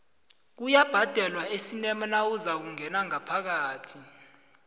kuyabhadalwa esinema nawuzakungena ngaphakathi